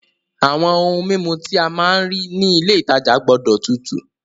Àwọn ohun mímu tí a máa rà ní ilé ìtajà gbọ́dọ̀ tutù.